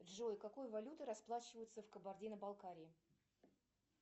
джой какой валютой расплачиваются в кабардино балкарии